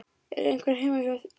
Er einhver heima hér?